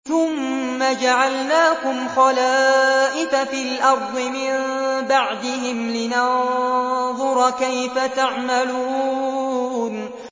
ثُمَّ جَعَلْنَاكُمْ خَلَائِفَ فِي الْأَرْضِ مِن بَعْدِهِمْ لِنَنظُرَ كَيْفَ تَعْمَلُونَ